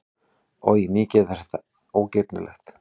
Oj, mikið er þetta ógirnilegt!